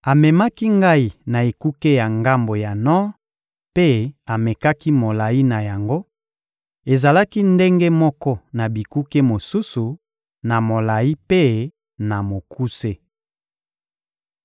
Amemaki ngai na ekuke ya ngambo ya nor mpe amekaki molayi na yango: ezalaki ndenge moko na bikuke mosusu, na molayi mpe na mokuse.